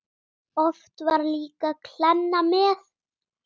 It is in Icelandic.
Oft var líka kleina með.